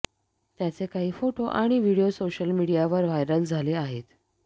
त्याचे काही फोटो आणि व्हिडिओ सोशल मीडियावर व्हायरल झाले आहेत